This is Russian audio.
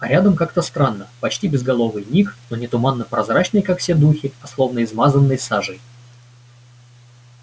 а рядом как странно почти безголовый ник но не туманно-прозрачный как все духи а словно измазанный сажей